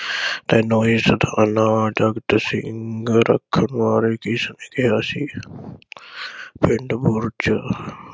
ਤੈਨੂੰ ਇਸ ਥਾਣਾ ਸਿੰਘ ਰੱਖਣ ਬਾਰੇ ਕਿਸ ਕਿਹਾ ਸੀ। ਪਿੰਡ ਬੁਰਜ